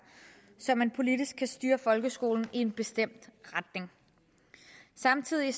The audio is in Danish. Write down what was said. så man politisk kan styre folkeskolen i en bestemt retning samtidig